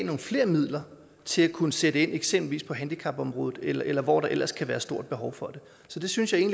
nogle flere midler til at kunne sætte ind eksempelvis på handicapområdet eller eller hvor der ellers kan være et stort behov for det så det synes jeg